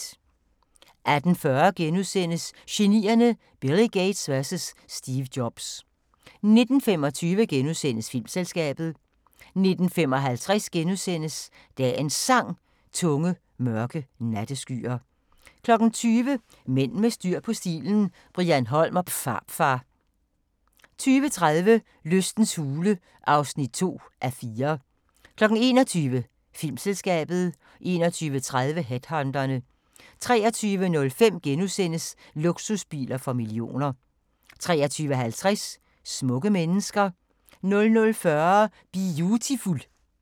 18:40: Genierne: Billy Gates vs Steve Jobs * 19:25: Filmselskabet * 19:55: Dagens Sang: Tunge, mørke natteskyer * 20:00: Mænd med styr på stilen – Brian Holm & Pharfar 20:30: Lystens hule (2:4) 21:00: Filmselskabet 21:30: Headhunterne 23:05: Luksusbiler for millioner * 23:50: Smukke mennesker 00:40: Biutiful